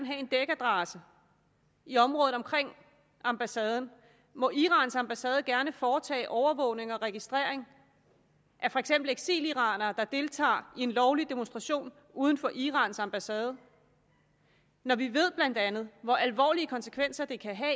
have en dækadresse i området omkring ambassaden må irans ambassade gerne foretage overvågning og registrering af for eksempel eksiliranere der deltager i en lovlig demonstration uden for irans ambassade når vi blandt andet hvor alvorlige konsekvenser det kan have